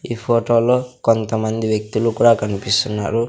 ఈ ఫొటోలో కొంతమంది వ్యక్తులు కూడా కనిపిస్తున్నారు.